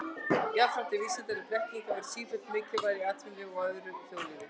Jafnframt er vísindaleg þekking að verða sífellt mikilvægari í atvinnulífi og öðru þjóðlífi.